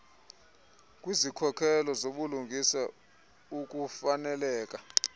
kwizikhokhelo zobulungisa ukufaneleka